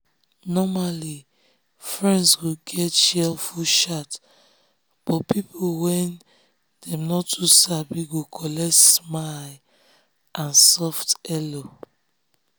normally friends go get cheerful shout but people wey dem no too sabi go collect smile and soft hello.